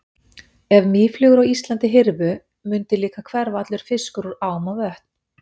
Ef mýflugur á Íslandi hyrfu mundi líka hverfa allur fiskur úr ám og vötnum.